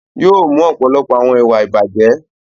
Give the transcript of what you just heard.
Yóò mú ọ̀pọ̀lọpọ̀ àwọn ìwà ìbàjẹ́.